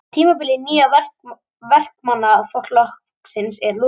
Tímabili Nýja Verkamannaflokksins er lokið